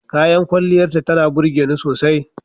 Kayan kwalliyarta tana burge ni sosai.